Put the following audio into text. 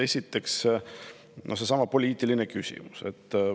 Esiteks seesama poliitiline küsimus.